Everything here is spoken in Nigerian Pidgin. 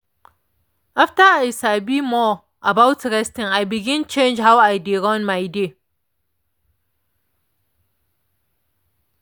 after i sabi more about resting i begin change how i dey run my day.